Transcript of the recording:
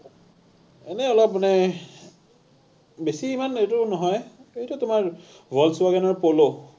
এনেই অলপ মানে, বেছি ইমান এইটো নহয়, এইটো তোমাৰ volkswagen ৰ POLO